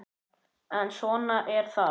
En svona er það.